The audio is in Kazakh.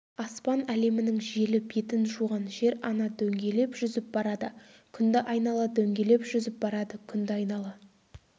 аспан әлемінің желі бетін жуған жер-ана дөңгелеп жүзіп барады күнді айнала дөңгелеп жүзіп барады күнді айнала